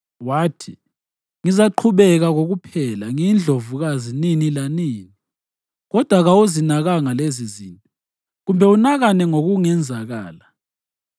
Wathi, ‘Ngizaqhubeka kokuphela ngiyindlovukazi nini lanini.’ Kodwa kawuzinakanga lezizinto, kumbe unakane ngokungenzakala.